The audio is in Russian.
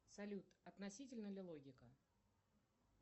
салют относительна ли логика